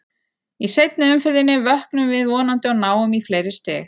Í seinni umferðinni vöknum við vonandi og náum í fleiri stig.